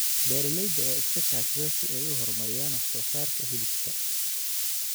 Beeralayda ayaa iska kaashada si ay u horumariyaan wax soo saarka hilibka.